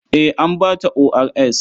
Eh, an ba ta ORS.